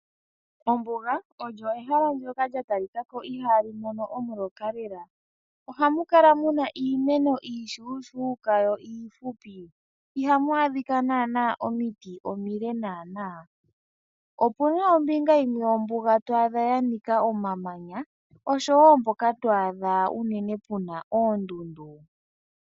Ombuga olyo ehala ndjoka lya talikako ihaamu mono omuloka lela. Ohamu kala muna iimeno iishuushuka yo iifupu ihamu adhika naana omiti omile. Opuna ombinga yimwe yombuga to adha yanika omamanya oshowo woo mpoka to adha uunene puna oondundu.